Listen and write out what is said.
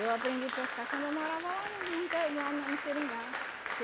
Eu aprendi a pescar quando eu morava lá no no interi lá no no seringal.